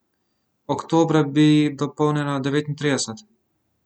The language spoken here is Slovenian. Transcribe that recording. Oktobra bi jih dopolnila devetintrideset.